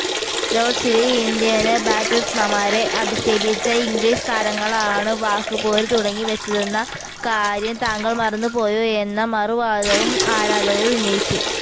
ലോര്ഡ്സില് Indian ബാറ്റസ്മാന്മാരെ അധിക്ഷേപിച്ച English താരങ്ങളാണു വാക്ക്പോരു തുടങ്ങിവച്ചതെന്ന കാര്യം താങ്കള് മറന്നുപോയോ എന്ന മറുവാദവും ആരാധകര് ഉന്നയിച്ചു